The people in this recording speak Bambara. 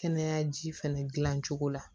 Kɛnɛya ji fɛnɛ gilan cogo la